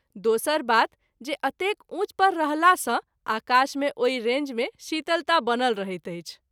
दोसर बात जे अतेक उँच पर रहला सँ आकाश मे ओहि रेंज मे शीतलता बनल रहैत अछि।